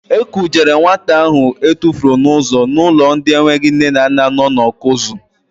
E kujere nwata ahụ etufuru n'ụzọ n'ụlọ ndị enweghị nne na nna nọ na Ọkụzụ.